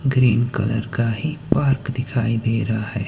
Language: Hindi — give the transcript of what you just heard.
ग्रीन कलर ही पार्क दिखाई दे रहा है।